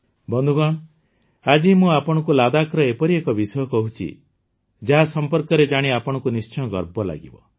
ବନ୍ଧୁଗଣ ଆଜି ମୁଁ ଆପଣଙ୍କୁ ଲଦାଖର ଏଭଳି ଏକ ବିଷୟ କହୁଛି ଯାହା ସମ୍ପର୍କରେ ଜାଣି ଆପଣଙ୍କୁ ନିଶ୍ଚିତ ଗର୍ବ ଲାଗିବ